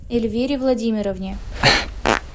эльвире владимировне